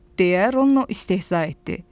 Deyə Rono istehza etdi.